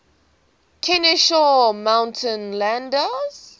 kenesaw mountain landis